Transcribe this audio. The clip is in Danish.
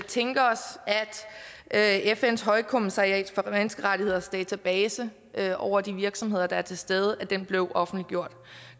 tænke os at fns højkommissariat for menneskerettigheders database over de virksomheder der er til stede blev offentliggjort